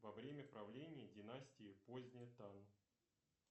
во время правления династии поздняя тан